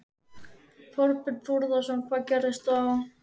Þorbjörn Þórðarson: Hvað gerist þá?